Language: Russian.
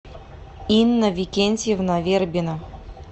инна викентьевна вербена